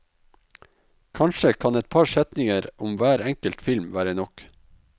Kanskje kan et par setninger om hver enkelt film være nok.